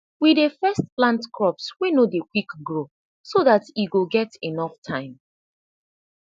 we dey first plant crops wey no de quick grow so dat e go get enough time